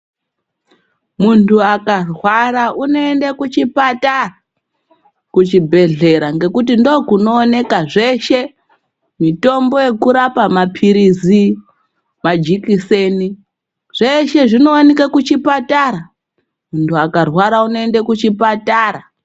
Muntu akarwara unoende kuchipatara kuchibhedhlera ngekuti ndokunooneka zveshe. Mitombo yekurapa maphirizi, majikiseni zveshe zvinovanike kuchipatara muntu akarwara unoende kuchipatara.